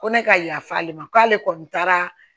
Ko ne ka yafa ale ma k'ale kɔni taara